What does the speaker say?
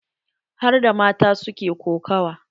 Harda mata su ke kokawa.